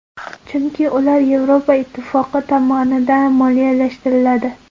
Chunki ular Yevropa ittifoqi tomonidan moliyalashtiriladi.